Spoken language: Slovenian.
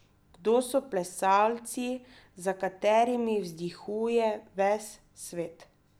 Kdo so plesalci, za katerimi vzdihuje ves svet?